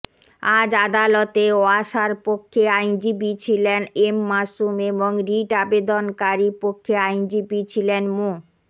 আজ আদালতে ওয়াসার পক্ষে আইনজীবী ছিলেন এম মাসুম এবং রিট আবেদনকারীপক্ষে আইনজীবী ছিলেন মো